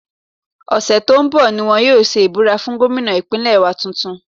Ọ̀sẹ̀ tó ń bọ̀ ni wọ́n yóò ṣe ìbúra fún gómìnà Ìpínlẹ̀ wa tuntun